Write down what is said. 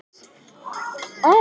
Eitthvað fleira fyrir yður?